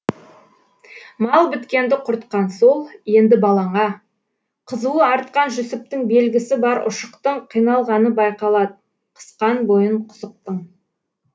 мал біткенді құртқан сол енді балаңа қызуы артқан жүсіптіңбелгісі бар ұшықтыңқиналғаны байқалад қысқан бойын құсықтың